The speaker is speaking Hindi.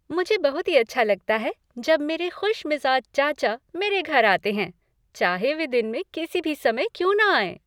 मुझे बहुत ही अच्छा लगता है जब मेरे खुशमिजाज चाचा मेरे घर आते हैं, चाहे वे दिन में किसी भी समय क्यों न आएं।